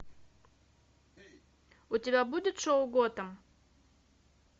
у тебя будет шоу готэм